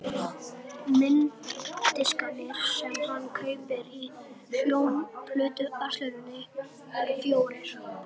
Mynddiskarnir sem hann kaupir í hljómplötuversluninni eru fjórir.